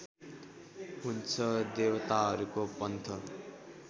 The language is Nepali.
हुन्छ देवताहरूको पन्थ